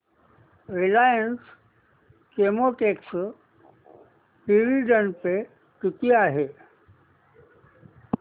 Reliance Chemotex dividend pay किती आहे